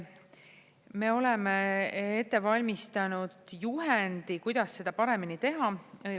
Me oleme ette valmistanud juhendi, kuidas seda paremini teha.